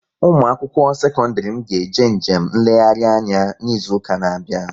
Ụmụakwụkwọ sekọndịrị m ga-eje njem nlegharị anya n'izuụka na-abịa